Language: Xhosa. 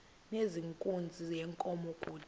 nezenkunzi yenkomo kude